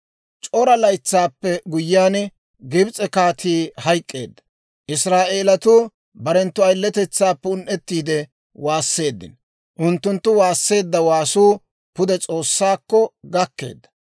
C'ora laytsaappe guyyiyaan, Gibs'e kaatii hayk'k'eedda. Israa'eelatuu barenttu ayiletetsaappe un"ettiide waasseeddino; unttunttu waasseedda waasuu pude S'oossakko gakkeedda.